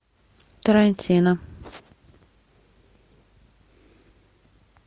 тарантино